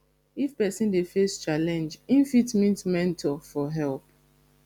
if person dey face challenge im fit meet mentor for help